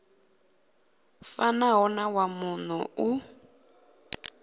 fanaho na wa muno u